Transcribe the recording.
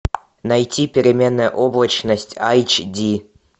найти переменная облачность айч ди